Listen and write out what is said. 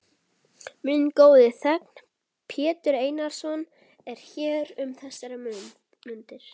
Minn góði þegn, Pétur Einarsson, er hér um þessar mundir.